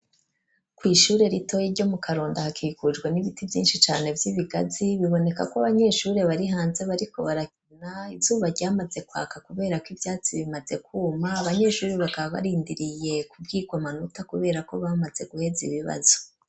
Kw'ishure ritoyi, ryo mu Karonda, hakikujwe n'ibiti, vyinshi cane, vy'ibigazi; biboneka ko, abanyeshure bari hanze, bariko barakina; izuba ryamaze kwaka, kubera ko, ivyatsi bimaze kwuma; abanyeshure bakaba, barindiriye kubwirwa amanota, kubera ko, bamaze guheza ibibazo.